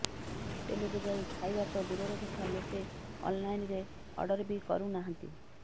ହୋଟେଲକୁ ଯାଇ ଖାଇବା ତ ଦୂରର କଥା ଲୋକେ ଅନ୍ଲାଇନରେ ଅର୍ଡର ବି କରୁନାହାନ୍ତି